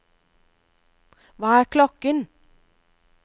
hva er klokken